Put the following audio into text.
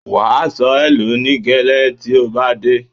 Wà̀ á sọ ẹ̀ló ní gẹ́lé tí ó bá dé.